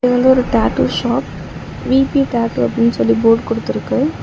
இது வந்து ஒரு tattoo shop V P tattoo அப்படின்னு சொல்லி போர்டு குடுத்து இருக்கு.